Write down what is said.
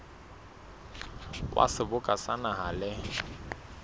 wa seboka sa naha le